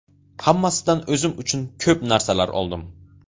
Hammasidan o‘zim uchun ko‘p narsalar oldim.